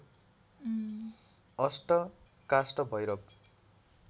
अष्ट काष्ठ भैरव